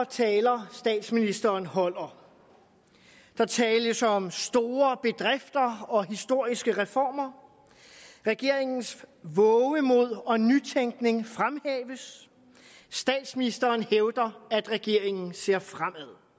taler statsministeren holder der tales om store bedrifter og historiske reformer regeringens vovemod og nytænkning fremhæves statsministeren hævder at regeringen ser fremad